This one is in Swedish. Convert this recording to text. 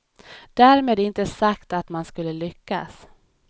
Därmed inte sagt att man skulle lyckas.